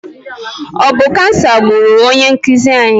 Ọ bụ kansa gburu onye nkuzi anyị?